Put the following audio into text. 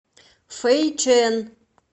фэйчэн